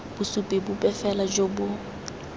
bosupi bope fela jo bo